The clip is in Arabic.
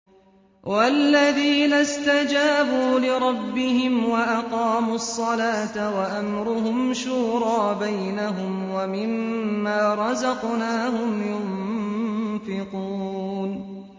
وَالَّذِينَ اسْتَجَابُوا لِرَبِّهِمْ وَأَقَامُوا الصَّلَاةَ وَأَمْرُهُمْ شُورَىٰ بَيْنَهُمْ وَمِمَّا رَزَقْنَاهُمْ يُنفِقُونَ